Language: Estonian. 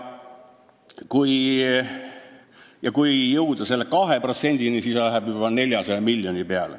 Et jõuda 2%-ni, läheks vaja juba 400 miljonit.